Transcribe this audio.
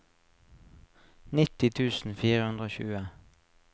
nitti tusen fire hundre og tjue